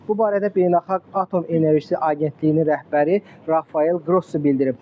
Bu barədə Beynəlxalq Atom Enerjisi Agentliyinin rəhbəri Rafael Qrossi bildirib.